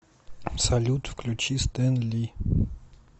салют включи стэнли